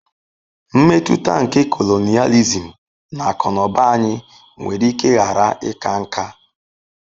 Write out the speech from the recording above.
Mmetụta nke colonialism na akụ na ụba anyị nwere ike ghara ịka nká.